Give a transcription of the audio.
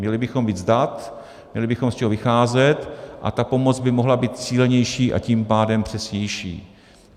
Měli bychom víc dat, měli bychom z čeho vycházet a ta pomoc by mohla být cílenější, a tím pádem přesnější.